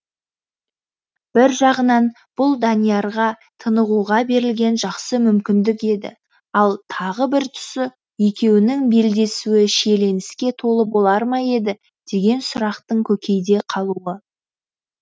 бір жағынан бұл даниярға тынығуға берілген жақсы мүмкіндік еді ал тағы бір тұсы екеуінің белдесуі шиеленіске толы болар ма еді деген сұрақтың көкейде қалуы